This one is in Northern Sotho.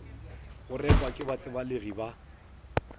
go rekwa ke batsebalegi ba